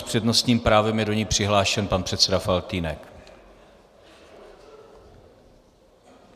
S přednostním právem je do ní přihlášen pan předseda Faltýnek.